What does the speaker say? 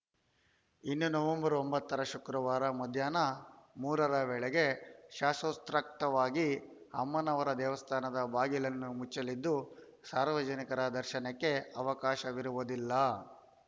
ಇನ್ನು ನವೆಂಬರ್ ಒಂಬತ್ತರ ಶುಕ್ರವಾರ ಮಧ್ಯಾಹ್ನ ಮೂರರ ವೇಳೆ ಶಾಸೊತ್ರೕಕ್ತವಾಗಿ ಅಮ್ಮನವರ ದೇವಸ್ಥಾನದ ಬಾಗಿಲನ್ನು ಮುಚ್ಚಲಿದ್ದು ಸಾರ್ವಜನಿಕರ ದರ್ಶನಕ್ಕೆ ಅವಕಾಶವಿರುವುದಿಲ್ಲ